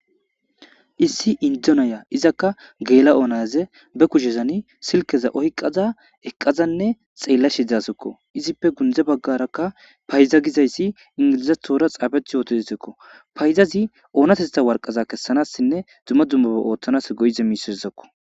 Issi Indo Naya izaka gela'o nazi be kushezan silkeza oykada eqadanne xelashe dawusiko, izippe gunde bagraka fayda giazysi ingilizathora xafeti utidesko, faydazi onatetha waraqata kesanasinne dumma dummaba oothanasi go'iza waraqatazako